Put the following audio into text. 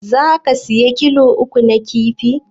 Zaka saya kilo uku na kifi?